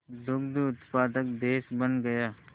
दुग्ध उत्पादक देश बन गया